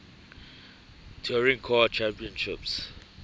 touring car championship